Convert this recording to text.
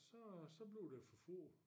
Så så bliver det for få